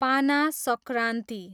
पाना संक्रान्ति